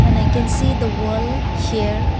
and i can see the wall here.